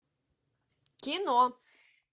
кино